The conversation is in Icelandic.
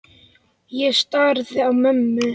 Ég starði á mömmu.